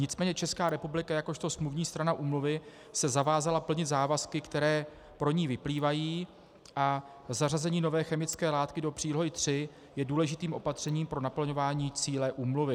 Nicméně Česká republika jakožto smluvní strana úmluvy se zavázala plnit závazky, které pro ni vyplývají, a zařazení nové chemické látky do Přílohy III je důležitým opatřením pro naplňování cíle úmluvy.